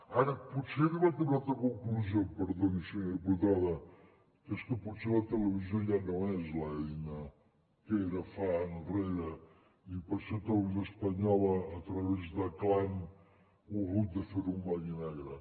ara potser he arribat a una altra conclusió i em perdoni senyora diputada que és que potser la televisió ja no és l’eina que era fa temps enrere i per això televisió espanyola a través de clan ho ha hagut de fer en blanc i negre